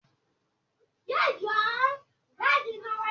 tí àgbàlagbà bá ṣẹ̀, ìrèké parí ọjà.